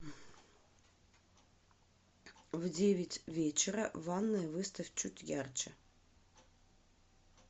в девять вечера ванная выставь чуть ярче